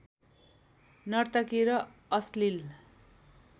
नर्तकी र अश्लील